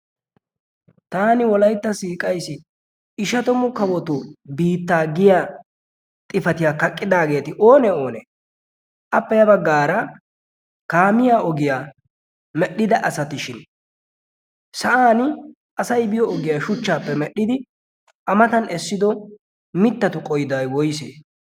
taani wolaytta siiqaisi ishatomu kawoto biittaa giya xifatiyaa kaqqidaageeti oonee oonee appe ya baggaara kaamiya ogiyaa medhdhida asatishin sa'an asay biyo ogiyaa shuchchaappe medhdhidi amatan essido mittatu qoiday woyse?